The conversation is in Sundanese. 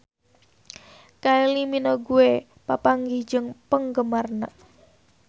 Kylie Minogue papanggih jeung penggemarna